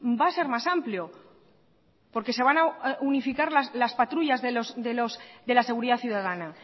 va a ser más amplio porque se van a unificar las patrullas de la seguridad ciudadana